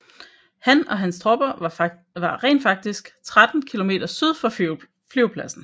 Han og hans tropper var rent faktisk 13 km syd for flyvepladsen